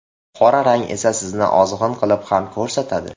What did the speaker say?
Qora rang esa sizni ozg‘in qilib ham ko‘rsatadi.